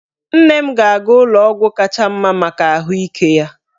Nne m ga-aga ụlọ ọgwụ kacha mma maka ahụike ya.